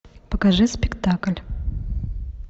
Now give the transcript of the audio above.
покажи спектакль